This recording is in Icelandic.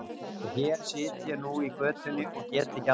Og hér sit ég nú í götunni og get ekki annað.